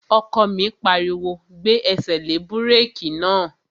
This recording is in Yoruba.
Ọkọ mi pariwo, "Gbé ẹsẹ̀ lé búrèkì náà!"